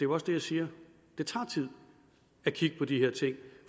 også det jeg siger det tager tid at kigge på de her ting